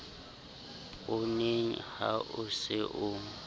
pooneng ha o se o